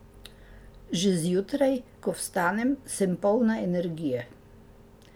Že zjutraj, ko vstanem, sem polna energije.